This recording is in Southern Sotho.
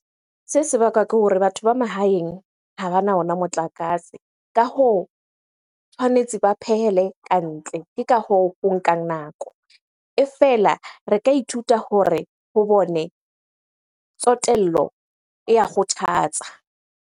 Se se bakwa ke hore batho ba mahaeng ha bana ona motlakase. Ka hoo, tshwanetse ba phehele kantle. Ke ka hoo ho nkang nako. E fela re ka ithuta hore ho bone tsotello e ya kgothatsa.